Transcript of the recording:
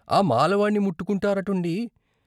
ఆ మాలవాణ్ణి ముట్టుకుంటారుటండి !